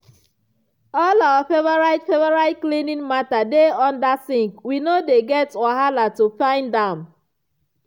all our favorite favorite cleaning mata dey under sink we no dey get wahala to find am.